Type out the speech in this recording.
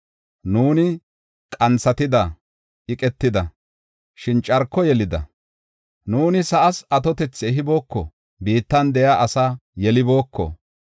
Nuuni qanthatida; iqetida; shin carko yelida. Nuuni sa7aas atotethi ehibooko; biittan de7iya asaa yelibooko.